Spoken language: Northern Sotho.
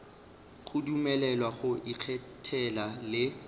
go dumelelwa go ikgethela le